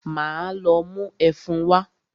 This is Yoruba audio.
Máa lọ mú ẹfun wá.